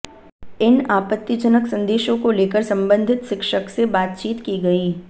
इन आपत्तिजनक संदेशों को लेकर संबंधित शिक्षक से बातचीत की गई